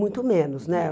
Muito menos, né?